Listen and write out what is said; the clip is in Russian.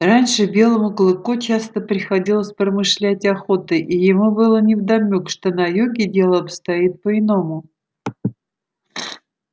раньше белому клыку часто приходилось промышлять охотой и ему было невдомёк что на юге дело обстоит по иному